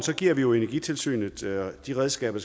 giver vi jo energitilsynet de redskaber